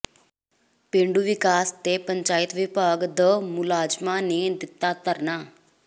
ਪੇਂਡੂ ਵਿਕਾਸ ਤੇ ਪੰਚਾਇਤ ਵਿਭਾਗ ਦ ਮੁਲਾਜ਼ਮਾਂ ਨੇ ਦਿੱਤਾ ਧਰਨਾ